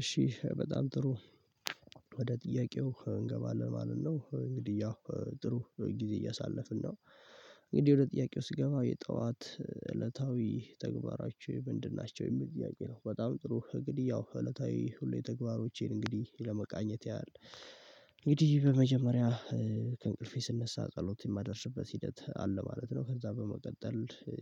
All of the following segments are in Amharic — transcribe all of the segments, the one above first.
እሺ በጣም ጥሩ ወደ ጥያቄው እንገባለን ማለት ነው እንግዲህ ያው ጥሩ ጊዜ እያሳለፍን ነው። እንግዲህ ወደ ጥያቄው ስገባ የጠዋት እለታዊ ተግባራችን ምንድን ናቸው የሚል ጥቄያ ነው? በጣም ጥሩ እንግዲህ ያው እለታዊ ሁሌ ተግባሮቼን እንግዲህ ለመቃኘት ያህል እንግዲህ በመጀመሪያ ከእንቅልፌ ስነሳ ጸሎት የማደርስበት ሂደት አለ ማለት ነው። ከዛ በመቀጠል እ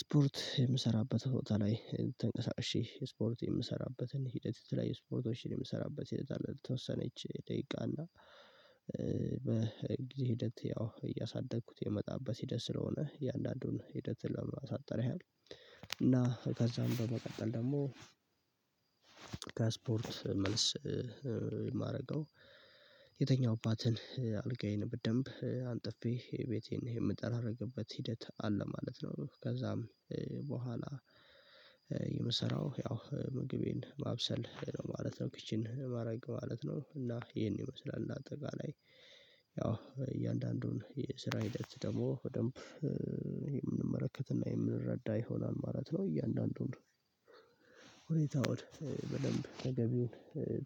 ስፖርት የምሰራበት ቦታ ላይ ተንቀሳቅሼ ስፖርት የምሰራበትን ሂደት ላይ ስፖርቶችን የምሰራበት ሂደት አለ። ለተወሰነች ደቂቃ እና ሂደት ያው እያሳደግኩት የመጣበት ሂደት ስለሆነ እያንዳንዱን ሂደት ለማሳጠር ያህል እና ከዛም በመቀጠል ደግሞ ከስፖርት መልስ እማረገው የተኛሁባትን አልጋዬን በደንብ አንጥፌ ቤቴን የምጠራረግበት ሂደት አለ ማለት ነው። ከዛም በኋላ የምሰራው ያው ምግቤን ማብሰል ማለት ነው ኪችን ማረግ ማለት ነው። እና ይሄን ይመስላል እንደ አጠቃላይ እያንዳንዱን የስራ ሂደት ደግሞ በደንብ የምንመለከትና የምንረዳ ይሆናል ማለት ነው። እያንዳንዱን ሁኔታውን በደንብ ተገቢውን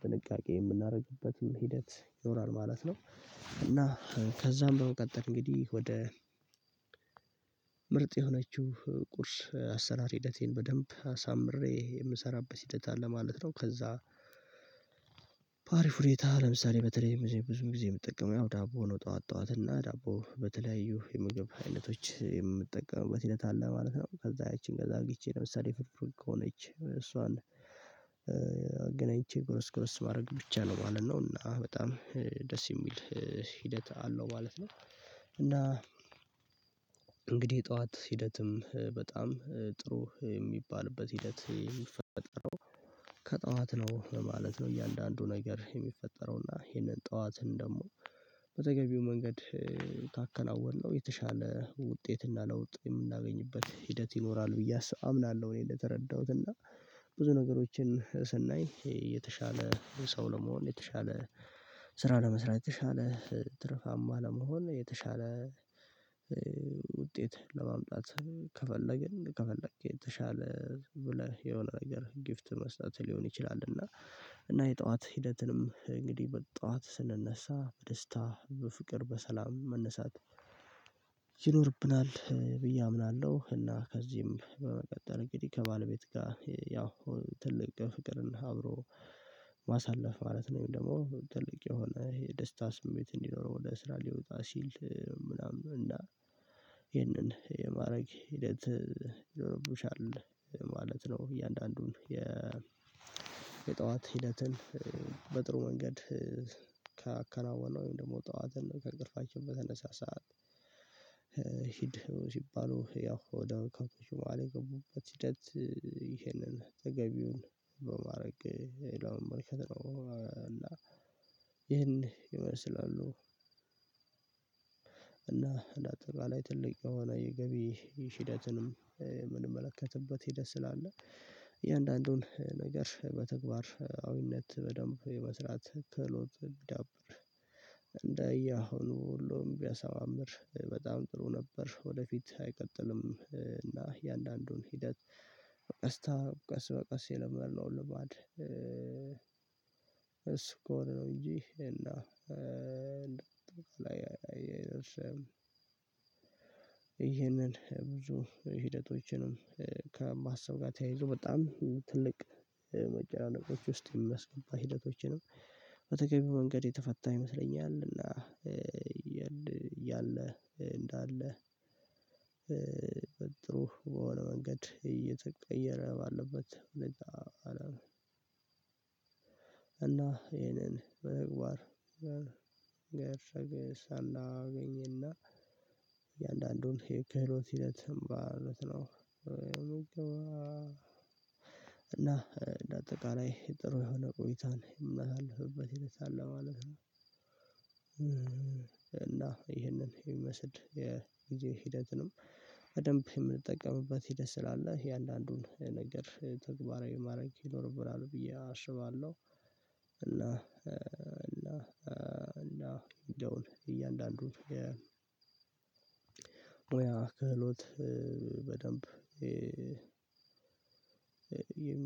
ጥንቃቄ የምናደርግበትን ሂደት ይኖራል ማለት ነው። እና ከዛም በቀጠል እንግዲህ ወደ ምርጥ የሆነችው ቁርስ አሰራር ሂደቴን በደንብ አሳምሬ የምሰራበት ሂደት አለ ማለት ነው። ከዛ ባሪፍ ሁኔታለምሳሌ በተለይ ብዙ ጊዜ የምትጠቀመው ያው ዳቦ ሆኖ ጠዋት ጠዋት እና ዳቦ በተለያዩ የምግብ አይነቶች የምጠቀምበት ሁኔታ አለ ማለት ነው። ከዛ ያቺን ከዛ አግኝቼ ለምሳሌ ፍርፍር ከሆነች እሷን አገናኝቼ ጉርስ ጉርስ ማድረግ ብቻ ነው ማለት ነው እና በጣም ደስ የሚል ሂደት አለው ማለት ነው። እና ጠዋት ሂደትም በጣም ጥሩ የሚባልበት ሂደት የሚፈጠረው ከጠዋትም ነው ማለት ነው። እያንዳንዱ ነገር የሚፈጠረው እና ይሄንን ጠዋትን ደግሞ በተገቢው መንገድ ካከናወነው የተሻለ ውጤት እና ለውጥ የምናገኝበት ሂደት ይኖራል ብዬ አምናለሁ። እኔ በተረዳሁት እና ብዙ ነገሮችን ስናይ የተሻለ ሰው ለመሆን የተሻለ ስራ ለመስራት የተሻለ ትርፋማ ለመሆን የተሻለ ውጤት ለማምጣት ከፈለግን ከፈለግን የተሻለ ብለሽ የሆነ ነገር ጊፍት መስጠት ሊሆን ይችላል። እና እና የጠዋት ሂደትንም እንግዲህ በጠዋት ስንነሳ በደስታ በፍቅር በሰላም መነሳት ይኖርብናል ብዬ አምናለሁ። እና ከዚህም በመቀጠል እንግዲህ ከባለቤት ጋር ያው ትልቅ ፍቅርና አብሮ ማሳለፍ ማለት ነው ወይም ትልቅ የሆነ ይሄ የደስታ ስሜት እንዲኖረው ወደ ስራ ሊወጣ ሲል ምናምን እና ይህንን የማድረግ ሂደት ይኖርብሻል ማለት ነው። እያንዳንዱን የ የጠዋት ሂደትን በጥሩ መንገድ ካከናወነው ወይም ደግሞ ጠዋትን ከእንቅልፋችን በተነሳ ሰዓት ሂድ ሲባሉ ያው ወደ ከፍወደአለበት ሂደት ይሄንን ተገቢውን በማድረግ የሌላውን መመልከት ነው። እና ይህን ይመስላሉ እና እንደ አጠቃላይ ትልቅ የገቢ ሂደትንም የምንመለከትበት ሄደህ ስላለ እያንዳንዱን ነገር በተግባር አዊነት በደንብ የመስራት ክህሎት ቢዳብር እንደየ አሁኑ ሁሉም ቢያሳምር በጣም ጥሩ ነበር። ወደፊት አይቀጥልም እና እያንዳንዱን ሂደት ቀስታ ቀስ በቀስ የለመድነው ልማድ እሱ ከሆነ ነው። እንጂ እና ይሄንን ብዙ ሂደቶችንም ከማሰብ ጋር ተያይዞ በጣም ትልቅ መጨናንቅ ውስጥ የሚያስገባ ሂደቶችንም በተገቢው መንገድ የተፈታ ይመስለኛል። እና ያለ እንዳለ በጥሩ በሆነ መንገድ እየተቀየረ ባለበት ሁኔታ እና ይሄንን በቅባት ገረገር ሳላገኝና እያንዳንዱን የከህሎት ሂደት ማለት ነው። እና እንደ አጠቃላይ ጥሩ የሆነ ቆይታን የሚመሳልፍበት ሂደት አለ ማለት ነው። እና ይህንን ይመስድ የጊዜ ሂደትንም በደንብ የምንጠቀምበት ሂደት ስላለ የአንዳንዱን ነገር ተግባራዊ ማድረግ ይኖርብናል ብዬ አሽባለሁ። እና እና እና ደውል እያንዳንዱን ወይ ክህሎት በደንብ